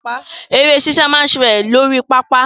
Eré sísá máa ń ṣẹlẹ̀ lórí pápá.